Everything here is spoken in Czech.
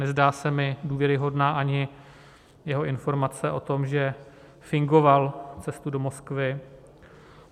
Nezdá se mi důvěryhodná ani jeho informace o tom, že fingoval cestu do Moskvy.